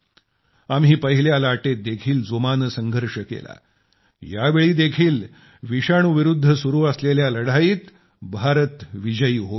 आम्ही पहिल्या लाटेत देखील जोमाने संघर्ष केला यावेळी देखील विषाणू विरुद्ध सुरु असलेल्या लढाईत भारत विजयी होईल